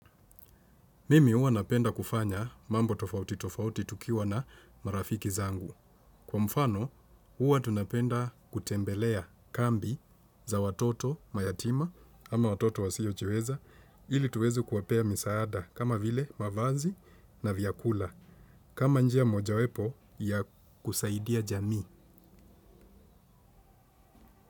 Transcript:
Mimi huwa napenda kufanya mambo tofauti tofauti tukiwa na marafiki zangu. Kwa mfano, huwa tunapenda kutembelea kambi za watoto mayatima ama watoto wasiochiweza ili tuweze kuwapea misaada kama vile mavazi na vyakula. Kama njia mojawapo ya kusaidia jami.